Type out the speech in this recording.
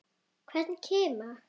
Hvern kima.